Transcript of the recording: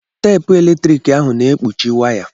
Teepu eletrik ahụ na-ekpuchi waya.